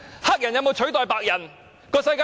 黑人有否取代白人？